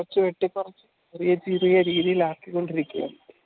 ചെറിയ രീതിയിൽ ആക്കിക്കൊണ്ടിരിക്കയാണ്